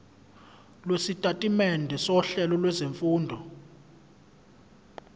lwesitatimende sohlelo lwezifundo